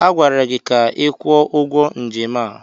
Agwara gị ka ị kwụọ ụgwọ njem a!